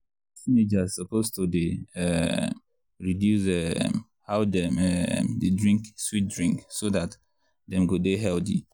teenagers suppose to dey um reduce um how dem um dey drink sweet drink so dat dem go dey healthy.